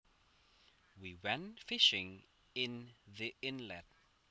We went fishing in the inlet